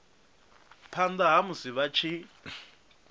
phanda ha musi vha tshi